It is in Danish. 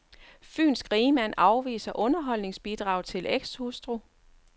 Fynsk rigmand afviser underholdsbidrag til ekshustru.